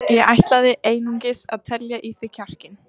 Ég ætlaði einungis að telja í þig kjarkinn.